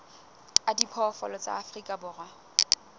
a diphoofolo tsa afrika borwa